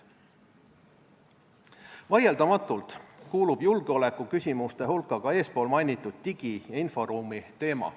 Vaieldamatult kuulub julgeolekuküsimuste hulka ka eespool mainitud digi- ja inforuumi teema.